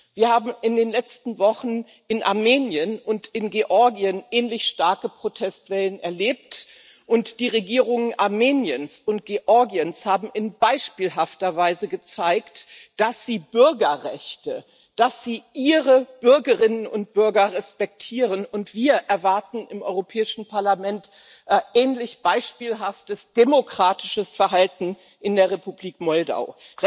Wir haben in den letzten Wochen in Armenien und in Georgien ähnlich starke Protestwellen erlebt, und die Regierungen Armeniens und Georgiens haben in beispielhafter Weise gezeigt, dass sie Bürgerrechte, dass sie ihre Bürgerinnen und Bürger respektieren, und wir im Europäischen Parlament erwarten sähnlich beispielhaftes demokratisches Verhalten in der Republik Moldau.